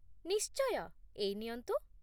ନିଶ୍ଚୟ, ଏଇ ନିଅନ୍ତୁ।